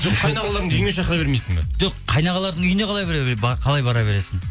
жоқ қайынағаларыңды үйіңе шақыра бермейсің бе жоқ қайынағалардың үйіне қалай бара бересің